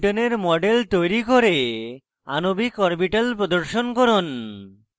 2butene 2বিউটেন এর model তৈরী করে আণবিক অরবিটাল প্রদর্শন করুন